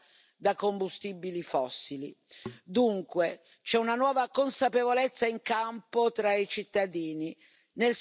Dunque, c'è una nuova consapevolezza in campo tra i cittadini, nel sistema d'impresa e tra i lavoratori.